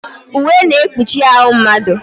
Uwe na-ekpuchi ahụ mmadụ.